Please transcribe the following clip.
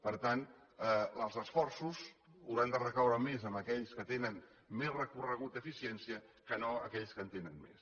per tant els esforços hauran de recaure més en aquells que tenen més recorregut d’eficiència que no en aquells que en tenen més